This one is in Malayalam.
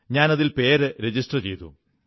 ഞാൻ അതിൽ പേരു രജിസ്റ്റർ ചെയ്തു